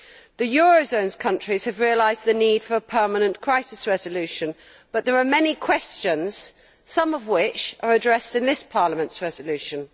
The eurozone countries have realised the need for a permanent crisis resolution, but there are many questions, some of which are addressed in this Parliament's resolution.